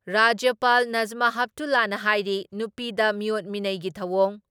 ꯔꯥꯖ꯭ꯌꯄꯥꯜ ꯗꯥ ꯅꯁꯃꯥ ꯍꯦꯞꯇꯨꯂꯥꯅ ꯍꯥꯏꯔꯤ ꯅꯨꯄꯤꯗ ꯃꯤꯑꯣꯠ ꯃꯤꯅꯩꯒꯤ ꯊꯧꯑꯣꯡ